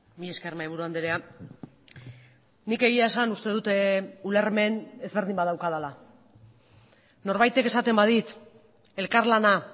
mila esker mahaiburu andrea nik egia esan uste dut ulermen ezberdin badaukadala norbaitek esaten badit elkarlana